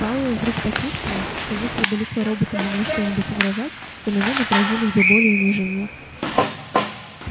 пауэлл вдруг почувствовал что если бы лицо робота могло что-нибудь выражать то на нём отразились бы боль и унижение